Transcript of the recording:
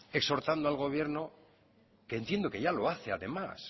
exhortando al gobierno que entiendo que ya lo hace además